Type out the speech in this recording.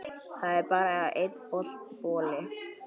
Það er bara einn bolli!